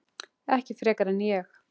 Ekki frekar en ég.